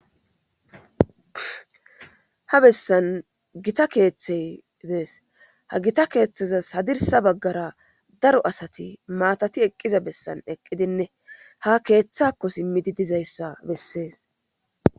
Ha bessan gita keeththey dees ha gita keeththeza hadirsa baggara daro asati maatati eqqiza bessan eqqidinne ha keeththakko simmidi dizayssa bessees.